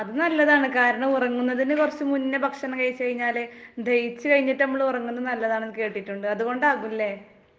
അത് നല്ലതാണു കാരണം ഉറങ്ങുന്നതിനു കുറച്ചു മുമ്പ് ഭക്ഷണം കഴിച്ചാല് ദഹിച്ചു കഴിഞ്ഞിട്ടു ആണ് നമ്മൾ ഉറങ്ങുന്നത് നല്ലതു ആണെന്ന് കേട്ടിട്ടുണ്ട് .അതുകൊണ്ടാവുമല്ലേ ?